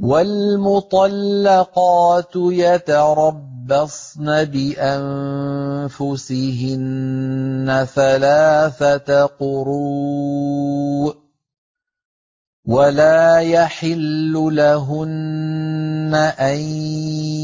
وَالْمُطَلَّقَاتُ يَتَرَبَّصْنَ بِأَنفُسِهِنَّ ثَلَاثَةَ قُرُوءٍ ۚ وَلَا يَحِلُّ لَهُنَّ أَن